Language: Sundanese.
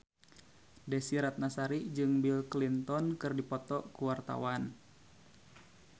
Desy Ratnasari jeung Bill Clinton keur dipoto ku wartawan